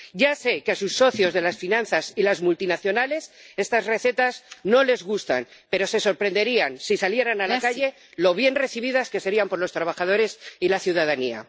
Ya sé que a sus socios de las finanzas y las multinacionales estas recetas no les gustan, pero se sorprenderían, si salieran a la calle, de lo bien recibidas que serían por los trabajadores y la ciudadanía.